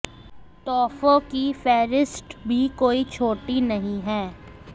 तोहफों की फेहरिस्त भी कोई छोटी नहीं है